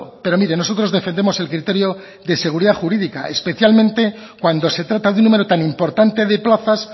pero miren nosotros defendemos el criterio de seguridad jurídica especialmente cuando se trata de un número tan importante de plazas